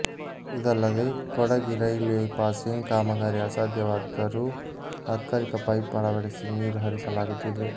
ಇದಲ್ಲದೇ Kudgi railway passing ಕಾಮಗಾರಿ ಅಸಾಧ್ಯವಾದರೂ ತಾತ್ಕಾಲಿಕ ಪೈಪ್ ಅಳವಡಿಸಿ ನೀರು ಹರಿಸಲಾಗುತ್ತಿದೆ